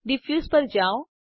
diffuse પર જાઓ